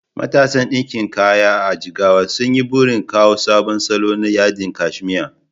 Matasan ɗinkin kaya a Jigawa sun yi burin kawo sabon salo na yadin kashmir